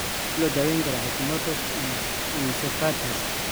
Sidee loo daweyn karaa Hashimoto's encephalitis?